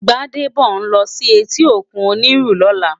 Gbadebo n lò si éti ókún Oniru lòlá